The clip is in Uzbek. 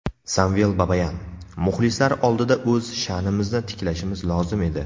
Samvel Babayan: Muxlislar oldida o‘z sha’nimizni tiklashimiz lozim edi .